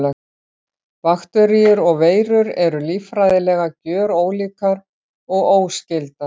Bakteríur og veirur eru líffræðilega gjörólíkar og óskyldar.